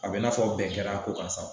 A be n'a fɔ bɛn kɛr'a ko kan sawo